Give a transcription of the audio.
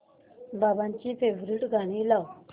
बाबांची फेवरिट गाणी लाव